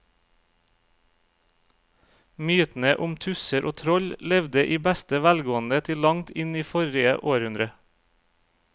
Mytene om tusser og troll levde i beste velgående til langt inn i forrige århundre.